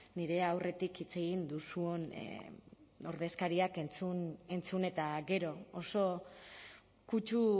nire aurretik hitz egin duzun ordezkariak entzun eta gero oso kutsu